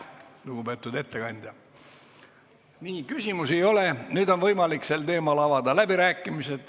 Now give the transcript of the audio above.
Nüüd on võimalik sel teemal avada läbirääkimised.